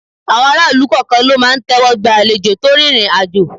Àwọn aráàlú kọ̀ọ̀kan ló máa ń tẹ́wọ́ gba àlejò tó rìnrìn àjò.